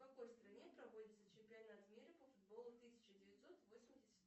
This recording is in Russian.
в какой стране проводится чемпионат мира по футболу тысяча девятьсот восемьдесят